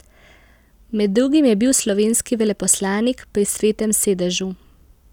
Med drugim je bil slovenski veleposlanik pri Svetem sedežu.